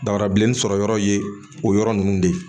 Dafara bilenni sɔrɔ yɔrɔ ye o yɔrɔ ninnu de ye